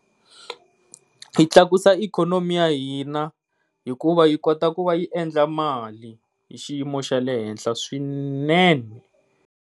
Yi tlakusa ikhonomi ya hina, hikuva yi kota ku va yi endla mali hi xiyimo xa le henhla swinene.